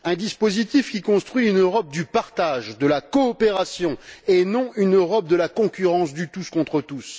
Un dispositif qui construit une Europe du partage, de la coopération, et non une Europe de la concurrence, du tous contre tous.